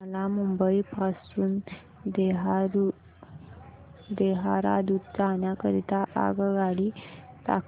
मला मुंबई पासून देहारादून जाण्या करीता आगगाडी दाखवा